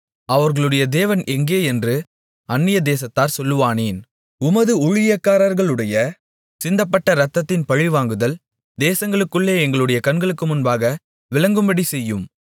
அவர்களுடைய தேவன் எங்கே என்று அன்னியதேசத்தார் சொல்வானேன் உமது ஊழியக்காரர்களுடைய சிந்தப்பட்ட இரத்தத்தின் பழிவாங்குதல் தேசங்களுக்குள்ளே எங்களுடைய கண்களுக்கு முன்பாக விளங்கும்படி செய்யும்